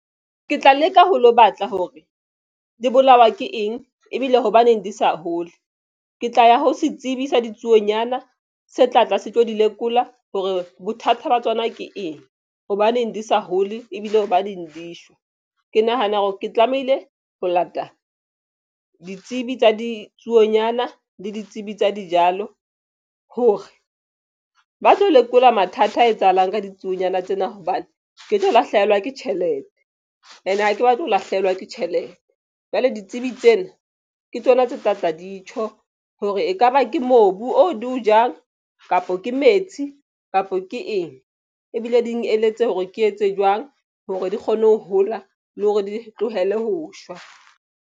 Ke tla leka ho lo batla hore di bolawa ke eng ebile hobaneng di sa hole. Ke tla ya ho setsibi sa ditsuonyana se tlatla se tlo di lekola hore bothata ba tsona ke eng hobaneng di sa hole ebile ba ding di shwa. Ke nahana hore ke tlamehile ho lata ditsebi tsa ditsuonyana le ditsebi tsa dijalo hore ba tlo lekola mathata a etsahalang ka ditsuonyana tsena. Hobane ke tlo lahlehelwa ke tjhelete ene ha ke batle ho lahlehelwa ke tjhelete jwale ditsebi tsena ke tsona tse tlatla di tjho hore ekaba ke mobu o di o jang kapo ke metsi kapa ke eng ebile di eletse hore ke etse jwang hore di kgone ho hola le hore di tlohele ho shwa.